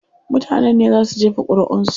Mutanen ne zaa su jefa ƙuriʼun su.